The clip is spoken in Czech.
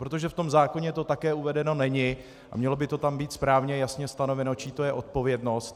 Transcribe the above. Protože v tom zákoně to také uvedeno není a mělo by to tam být správně jasně stanoveno, čí to je odpovědnost.